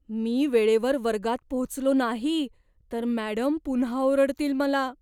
मी वेळेवर वर्गात पोहोचलो नाही तर मॅडम पुन्हा ओरडतील मला.